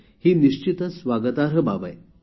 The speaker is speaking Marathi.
ही निश्चितच स्वागतार्ह बाब आहे